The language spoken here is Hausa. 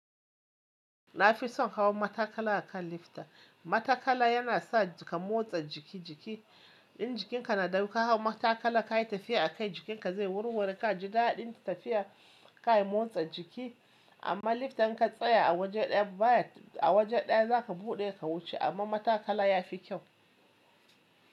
Na fi son hawa matakala akan lifta. Matakala yana sa ka motsa jiki jiki. In jikinka na da ruwa ka hau matakala ka yi tafiya akai jikinka zai warware ka ji daɗin tafiya ka yi motsa jiki amma lifta in ka tsaya a waje ɗaya bayan a waje ɗaya za ka buɗe ka wuce amma matakala ya fi kyau.